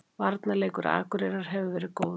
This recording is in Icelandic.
Varnarleikur Akureyrar hefur verið góður